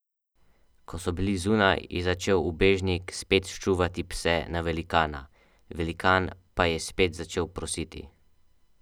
Ko so bili zunaj, je začel ubežnik spet ščuvati pse na velikana, velikan pa je spet začel prositi.